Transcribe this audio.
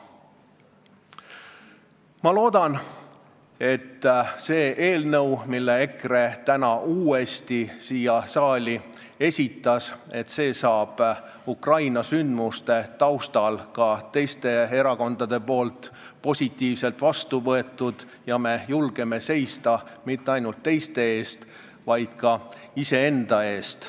Ma loodan, et see eelnõu, mille EKRE täna uuesti esitas, saab Ukraina sündmuste taustal ka teiste erakondade poolt positiivselt vastu võetud ja me julgeme seista mitte ainult teiste eest, vaid ka iseenda eest.